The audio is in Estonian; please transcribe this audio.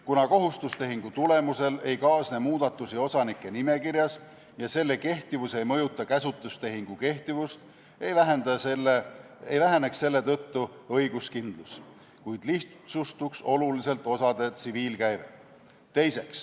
Kuna kohustustehingu tulemusel ei kaasne muudatusi osanike nimekirjas ja selle kehtivus ei mõjuta käsutustehingu kehtivust, ei väheneks selle tõttu õiguskindlus, kuid lihtsustuks oluliselt osade tsiviilkäive.